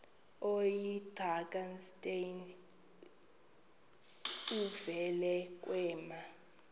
oyidrakenstein uvele kwema